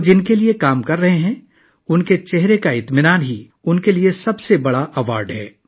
جن کے لیے وہ کام کر رہے ہیں ان کے چہرے پر اطمینان ہی ان کے لیے سب سے بڑا اعزاز ہے